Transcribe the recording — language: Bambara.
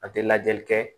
An tɛ lajɛli kɛ